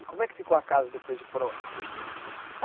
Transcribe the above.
E como é que ficou a casa depois de pronta?